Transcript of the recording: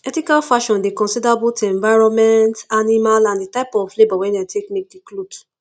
ethical fashion dey consider both environment animal and di type of labour wey dem take make di cloth